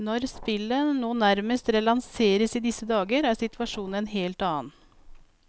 Når spillet nå nærmest relanseres i disse dager, er situasjonen en helt annen.